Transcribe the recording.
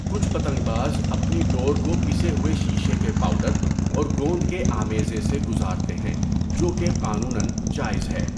کچھ پتنگ باز اپنی ڈور کو پسے ہوئے شیشے کے پاؤڈر اور گوند کے آمیزے سے گزارتے ہیں، جو کہ قانوناًجائز ہے۔